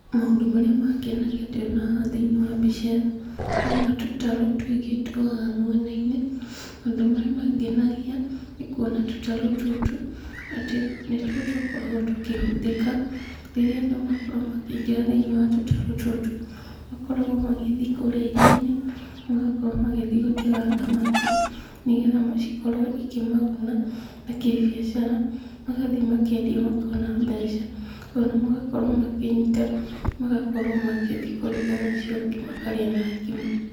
Maũndũ marĩa mangenagia ndĩrona haha thĩinĩ wa mbica ĩno, ndĩrona tũtarũ tũingĩ twĩhaha mwena-inĩ. Maũndũ marĩa mangenagia, nĩkuona tũtarũ tũtũ, atĩ nĩtuo tũkoragwo tũkĩhũthĩka, rĩrĩa andũ makorwo makĩingĩra thĩinĩ wa tũtarũ tũtũ, makoragwo magĩthiĩ kũrĩa iria-inĩ, magakorwo magĩthiĩ gũtega thamaki, nĩgetha ikorwo ikĩmaguna na kĩbiacara, magathiĩ makendia makona mbeca, ona magakorwo makĩnyita, magakorwo magĩthiĩ kũruga nacio makarĩa na ngima.